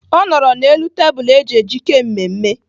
Ọ nọrọ n'elu tebụl eji ejike mmemme.